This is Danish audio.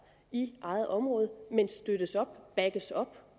i eget område men støttes op backes op